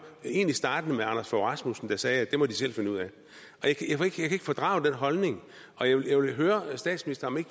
der egentlig startede med anders fogh rasmussen der sagde det må de selv finde ud af jeg kan ikke fordrage den holdning og jeg vil høre statsministeren